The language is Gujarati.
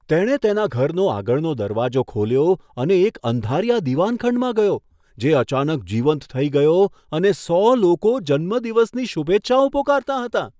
તેણે તેના ઘરનો આગળનો દરવાજો ખોલ્યો અને એક અંધારિયા દીવાનખંડમાં ગયો, જે અચાનક જીવંત થઈ ગયો અને સો લોકો જન્મદિવસની શુભેચ્છાઓ પોકારતાં હતાં.